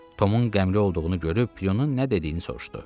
Tomun qəmli olduğunu görüb Prunun nə dediyini soruşdu.